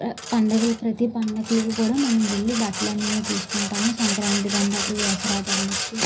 పండగల్ ప్రతి పండగలకి కూడా మనం వెళ్లి బట్టలు అనేవి తెసుకుంతము సంక్రాతి పండుగ కి దసరా పండ కి.